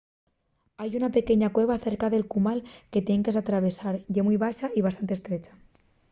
hai una pequeña cueva cerca del cumal que tien que s’atravesar. ye mui baxa y bastante estrecha